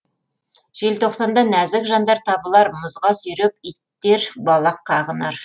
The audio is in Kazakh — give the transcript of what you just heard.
желтоқсанда нәзік жандар табылар мұзға сүйреп иттер балақ қағынар